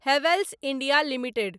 Havells India limited